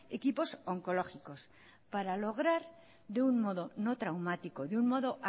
equipos oncológicos para lograr de un modo no traumático de un modo